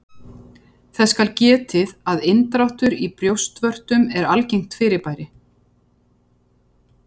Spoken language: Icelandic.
Þess skal getið að inndráttur í brjóstvörtum er algengt fyrirbæri.